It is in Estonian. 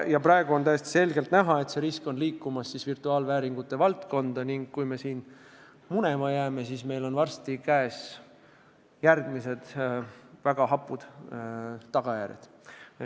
Ja praegu on täiesti selgelt näha, et see risk liigub virtuaalvääringute valdkonda ning kui me siin munema jääme, siis on meil varsti käes järgmised väga hapud tagajärjed.